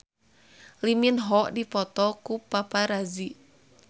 Lee Min Ho dipoto ku paparazi